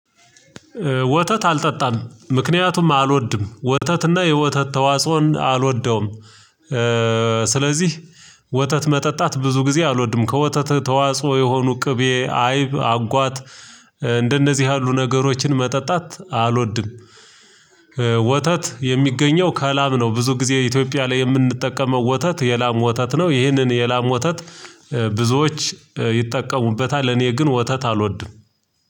ወተት አልጠጣም ምክንያቱም አልወድም ወተትና የወተት ተዋጽኦን አልወደውም። ስለዚህ ወተት መጠጣት ብዙ ጊዜ አልወድም ከወተት ተዋጽኦ የሆኑ ቅቤ አይብ አጓት እንደነዚህ ያሉ ነገሮችን መጠጣት አልወድም። ወተት የሚገኘው ከላም ነው ብዙ ጊዜ ኢትዮጵያ ላይ የምንጠቀመው ወተት የላም ወተት ነው። ይህንን የላም ወተት ብዙዎች ይጠቀሙበታል። እኔ ግን ወተት አልወድም።